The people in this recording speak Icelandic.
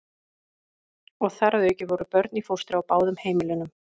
Og þar að auki voru börn í fóstri á báðum heimilunum.